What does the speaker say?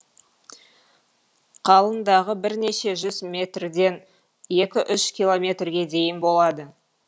қалыңдығы бірнеше жүз метрден екі үш километрге дейін болады